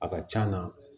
A ka c'a na